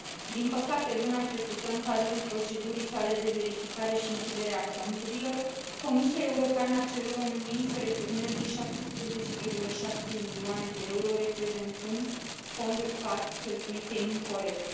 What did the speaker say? Din păcate, luna trecută, în cadrul procedurii sale de verificare și închidere a conturilor, Comisia Europeană a cerut României să returneze 17,7 milioane de euro, reprezentând fonduri PAC cheltuite incorect.